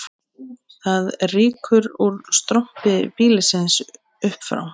Það rýkur úr strompi býlisins upp frá